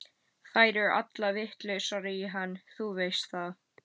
Þær eru allar vitlausar í hann, þú veist það.